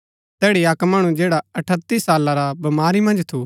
तैड़ी अक्क मणु जैडा अठत्‍ती साला रा बमारी मन्ज थू